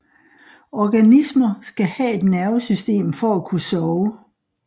Organismer skal have et nervesystem for at kunne sove